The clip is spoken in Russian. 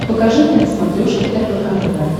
покажи мне на смотрешке рбк тв